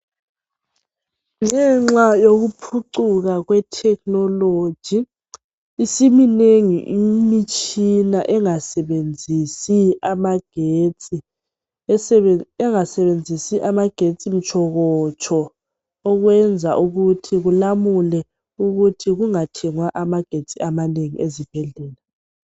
ngenxa yokuphucuka kwethekinoloji isimnengi imitshina engasebenzisi amagetsi mtshokotsho ekwenza ukuthi kulamulwe ukuthi kungathengwa ama gesti amanengi ezibhedlela.